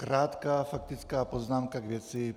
Krátká faktická poznámka k věci.